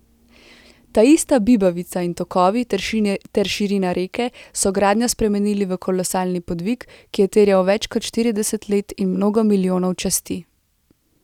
Taista bibavica in tokovi ter širina reke so gradnjo spremenili v kolosalni podvig, ki je terjal več kot štirideset let in mnogo milijonov časti.